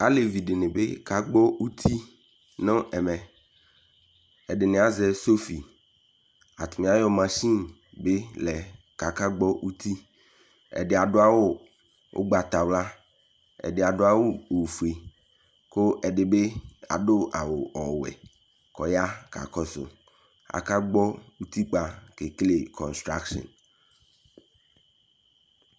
Alevi de be ka gbɔ uti no ɛmɛƐdene azɛ sofi Atane ayeɔ machinebe lɛ kakaaka gbɔ uti, Ɛde ado awu ugbatawla, ɛde ado awu ofie, ko ɛde be aso awu ɔwɛ ko ya kaa kɔso Aka gbɔ utikoa ke Ke konstrackshin